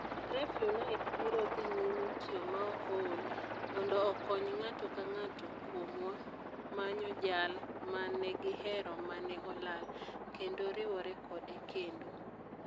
REFUNITE biro dhi nyime tiyo maok ool mondo okony ng'ato ka ng'ato kuomwa manyo jal ma ne gihero ma ne olal, kendo riwore kode kendo.